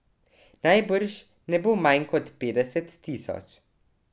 Najbrž ne bo manj kot petdeset tisoč.